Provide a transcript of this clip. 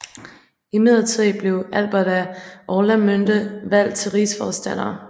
Imidlertid blev Albert af Orlamünde valgt til rigsforstander